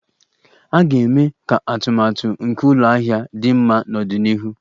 A ga-eme ka atụmatụ nke ụlọ ahịa dị mma n'ọdịnihu.